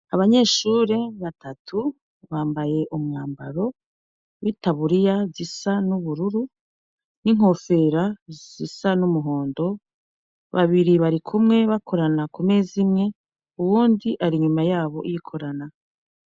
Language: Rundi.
Abanyeshure batatu bambaye umwambaro witaburiya itisu isa nubururu ninkompfero zisa numuhondo babiri barikumwe bakorana kumeza imwe uwundi ari inyuma yabo yikorana